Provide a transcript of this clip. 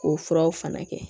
K'o furaw fana kɛ